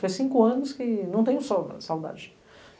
Foi cinco anos que não tenho saudades.